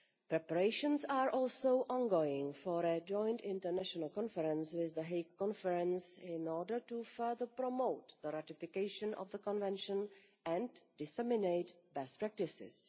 Preparations are also ongoing for a joint international conference with the Hague Conference in order to further promote the ratification of the Convention and disseminate best practices.